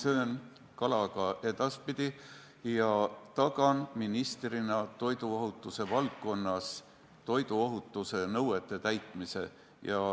Ma söön kala ka edaspidi ja tagan ministrina toiduohutuse valdkonnas toiduohutuse nõuete täitmise.